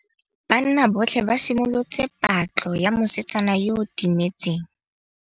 Banna botlhê ba simolotse patlô ya mosetsana yo o timetseng.